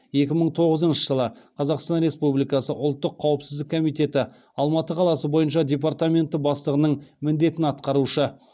екі мың тоғызыншы жылы қазақстан республикасы ұлттық қауіпсіздік комитеті алматы қаласы бойынша департаменті бастығының міндетін атқарушы